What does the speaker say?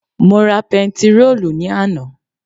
Mo ra pentiróòlù ní àná